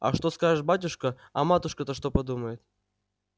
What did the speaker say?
а что скажет батюшка а матушка-то что подумает